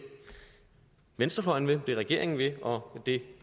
venstrefløjen vil det regeringen vil og det